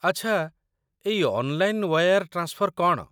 ଆଚ୍ଛା, ଏଇ online wire transfer କ'ଣ ?